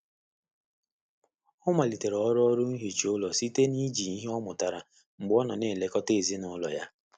Ọ malitere ọrụ ọrụ nhicha ụlọ site na iji ihe ọmụrụtara mgbe ọ na-elekọta ezinụlọ ya.